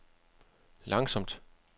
langsomt